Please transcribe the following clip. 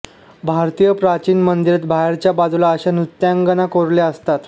भारतीय प्राचीन मंदिरात बाहेरच्या बाजूला अशा नृत्यांगना कोरलेल्या असतात